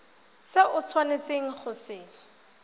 se o tshwanetseng go se